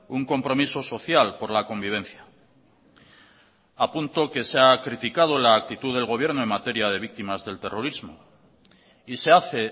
un compromiso social por la convivencia apunto que se ha criticado la actitud del gobierno en materia de víctimas del terrorismo y se hace